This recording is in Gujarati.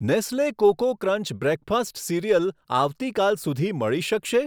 Nestle cocoa crunch breakfast cereal આવતીકાલ સુધી મળી શકશે?